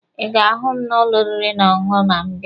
Ị ga-ahụ m n'ụlọ oriri na ọṅụṅụ ma ịbịa.